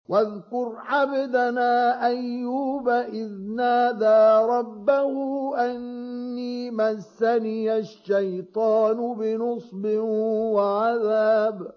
وَاذْكُرْ عَبْدَنَا أَيُّوبَ إِذْ نَادَىٰ رَبَّهُ أَنِّي مَسَّنِيَ الشَّيْطَانُ بِنُصْبٍ وَعَذَابٍ